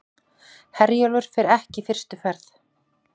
Herjólfur fer ekki fyrstu ferð